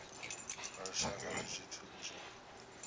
lwa lushaka ndi zwithu zwo